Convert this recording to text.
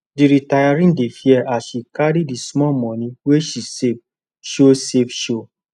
the retiree dey fear as she carry the small money wey she save show save show